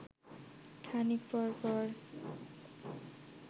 খানিক পর পর